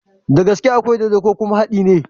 Dagaske akwai dodo ko kuma hadi ne?